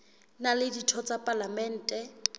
na le ditho tsa palamente